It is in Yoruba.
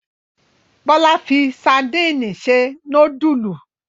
Bọ́lá yóò fi sadínì se núdúlù.